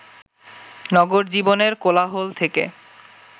নগর জীবনের কোলাহল থেকে